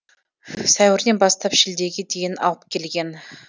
сәуірден бастап шілдеге дейін алып келген